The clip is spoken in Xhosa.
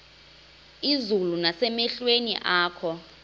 izulu nasemehlweni akho